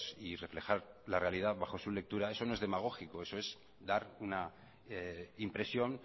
y reflejar la realidad bajo su lectura eso no es demagógico eso es dar una impresión